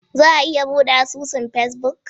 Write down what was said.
Za a iya bude asusun Facebook?